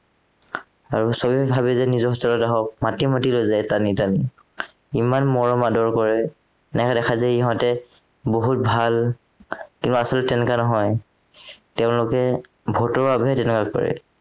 আৰু চবেই ভাৱে যে নিজৰ hostel ত আহক মাতি মাতি লৈ যায় টানি টানি ইমান মৰম আদৰ কৰে এনেকুৱা দেখায় যে ইহঁতে বহুত ভাল তেওঁ আচলতে তেনেকুৱা নহয় তেওঁলোকে ভোটৰ আৱেদনহে কৰে